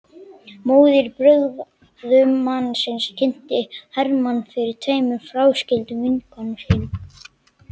Móðir brúðgumans kynnti Hermann fyrir tveimur fráskildum vinkonum sínum.